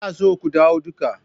Ina so ku dawo duka.